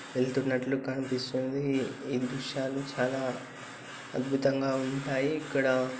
వెళ్తున్నట్టు కనిపిస్తుంది. ఈ దృశ్యాలు చాలా అద్భుతం గా ఉంటాయి ఇక్కడ.